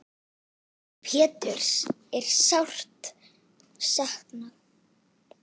Péturs er sárt saknað.